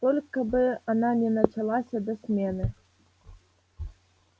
только бы она не началась до смены